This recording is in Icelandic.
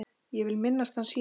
Ég vil minnast hans hér.